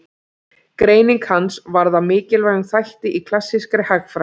Greining hans varð að mikilvægum þætti í klassískri hagfræði.